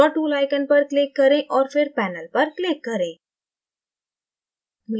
draw tool icon पर click करें और फिर panelपर click करें